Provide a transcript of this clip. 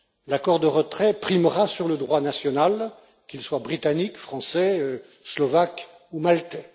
L'accord de retrait primera sur le droit national, qu'il soit britannique, français, slovaque ou maltais.